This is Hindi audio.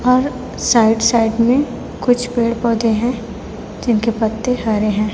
और साइड साइड में कुछ पेड़ पौधे हैं जिनके पत्ते हरे हैं।